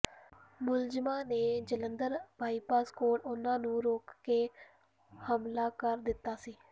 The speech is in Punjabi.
ਮੁਲਜ਼ਮਾਂ ਨੇ ਜਲੰਧਰ ਬਾਈਪਾਸ ਕੋਲ ਉਨ੍ਹਾਂ ਨੂੰ ਰੋਕ ਕੇ ਹਮਲਾ ਕਰ ਦਿੱਤਾ ਸੀ